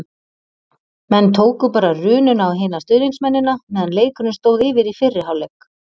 Menn tóku bara rununa á hina stuðningsmennina meðan leikurinn stóð yfir í fyrri hálfleik.